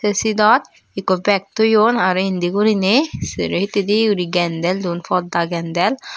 te sidot ekko bag toyon aro indi guriney sero hittedi gendel duon podda gendel.